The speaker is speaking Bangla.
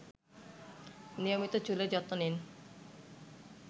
নিয়মিত চুলের যত্ন নিন